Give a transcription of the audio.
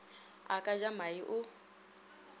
a ka ja mae o